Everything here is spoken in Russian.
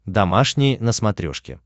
домашний на смотрешке